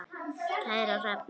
Kæra Hrefna,